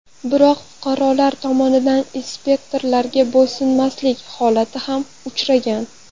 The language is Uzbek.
Biroq, fuqarolar tomonidan inspektorlarga bo‘ysunmaslik holatlari ham uchragan.